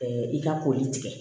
i ka koli tigɛ